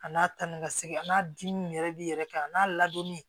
A n'a ta ni ka segin a n'a dimi yɛrɛ b'i yɛrɛ kan a n'a ladonni